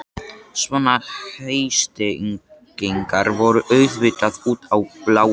Svona heitstrengingar voru auðvitað út í bláinn.